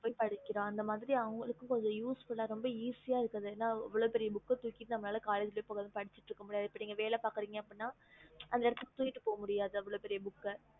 கொண்டுபோய் படிக்கிற அந்தமாரி அவோனகுல்லு useful இருக்கும் என அவ்ளோ பெரிய புக் தூக்கிட்டு பொய் collage பொய் படிச்சிட்டு இருக்க முடியாது இல்ல நீங்க வெலகிப்போரிங்கண்ணாஅந்த இடத்துக்கு தூக்கிட்டு போக முடியாது